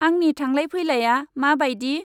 आंनि थांलाय फैलाया मा बायदि?